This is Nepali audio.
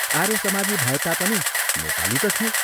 आर्यसमाजी भए तापनि नेपाली त थियो।